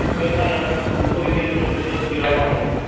সুরিয়া কুমার যখন দুটো wicket ওর দুটো zero out হল